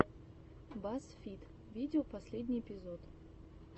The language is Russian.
баз фид видео последний эпизод